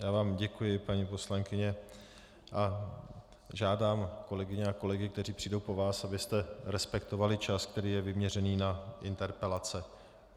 Já vám děkuji, paní poslankyně, a žádám kolegyně a kolegy, kteří přijdou po vás, abyste respektovali čas, který je vyměřený na interpelace.